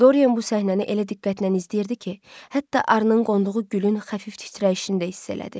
Doryen bu səhnəni elə diqqətlə izləyirdi ki, hətta arının qonduğu gülün xəfif titrəyişini də hiss elədi.